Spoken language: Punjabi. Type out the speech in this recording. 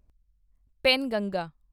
ਪੇਨਗੰਗਾ